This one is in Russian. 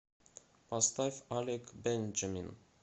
поставь алек бенджамин